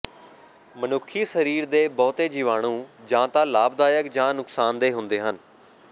ਮਨੁੱਖੀ ਸਰੀਰ ਦੇ ਬਹੁਤੇ ਜੀਵਾਣੂ ਜਾਂ ਤਾਂ ਲਾਭਦਾਇਕ ਜਾਂ ਨੁਕਸਾਨਦੇਹ ਹੁੰਦੇ ਹਨ